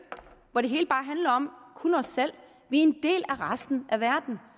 hvor det hele bare handler om os selv vi er en del af resten af verden